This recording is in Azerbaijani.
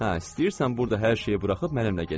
Hə, istəyirsən burda hər şeyi buraxıb mənimlə get.